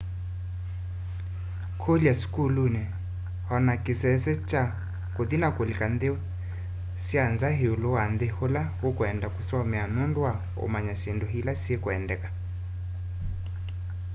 kũlya sukuluni o na kĩsese kya kũthi na kũlika nthĩ sya nza ĩũlũ wa nthĩ ĩla ũkwenda kũsomea nũndũ wa ũmanya syĩndũ ila sikwendekana